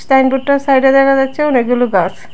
সাইনবোর্ডটার সাইডে দেখা যাচ্ছে অনেকগুলো গাছ।